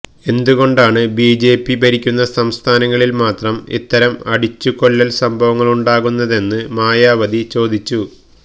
എന്തുകൊണ്ടാണ് ബിജെപി ഭരിക്കുന്ന സംസ്ഥാനങ്ങളില് മാത്രം ഇത്തരം അടിച്ചുകൊല്ലല് സംഭവങ്ങളുണ്ടാകുന്നതെന്ന് മായവതി ചോദിച്ചു